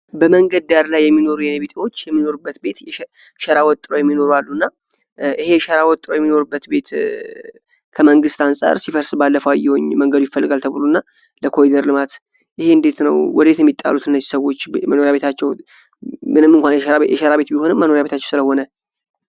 በመንገድ ዳር ላይ የሚኖር የኔ ቢጤዎች የሚኖሩበት ቤት ሸራ ወጥረው ይኖራሉና ይሄ ሸራ ውትረው የሚኖሩበት ቤት ከመንግሥት አንጻር ሲፈርስ አየሁ ባለፈዉ መንገዱ ይፈልጋል ተብሎ ለኮሊደር ልማት ይሄ እንዴት ነው? ወደ የት ነው የሚጣሉት እነዚህ ሰዎች በመኖሪያ ቤታቸው ምንም እንኳ የሸራ ቤት ቢሆንም መኖሪያ ቤታቸው ስለሆነ።